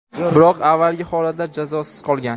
biroq avvalgi holatlar jazosiz qolgan.